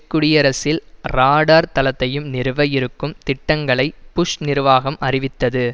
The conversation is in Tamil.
குடியரசில் ராடார் தளத்தையும் நிறுவ இருக்கும் திட்டங்களை புஷ் நிர்வாகம் அறிவித்தது